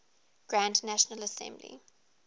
grand national assembly